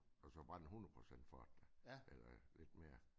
Altså bare en hundrede procents forretning eller lidt mere